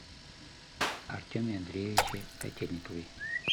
артеме андреевиче котельникове